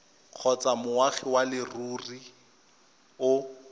kgotsa moagi wa leruri o